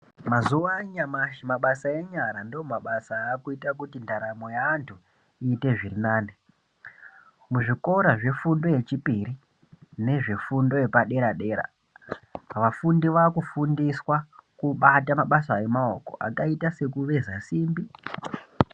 Mazuva anyamashi mabasa enyara ndoakuita kuti ndaramo yevantu iite zviri nane muzvikora zvefundo yechipiri nezvefundo yepadera dera vafundi vakufundiswa kubata mabasa emaoko akaita sekuveza simbi.